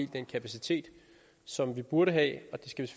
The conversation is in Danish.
den kapacitet som vi burde have og det skal